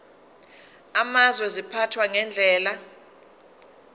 amazwe ziphathwa ngendlela